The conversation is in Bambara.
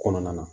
Kɔnɔna na